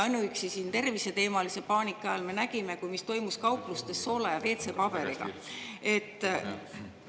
Ainuüksi terviseteemalise paanika ajal me nägime, mis toimus kauplustes soola ja WC-paberi.